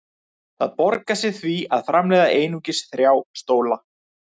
Það borgar sig því að framleiða einungis þrjá stóla.